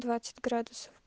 двадцать градусов